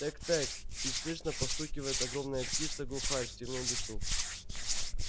тэк-тэк чуть слышно постукивает огромная птица глухарь в тёмном лесу